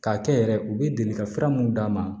K'a kɛ yɛrɛ u bɛ deli ka fura mun d'a ma